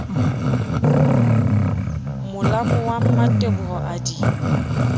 molamo wa mmateboho a di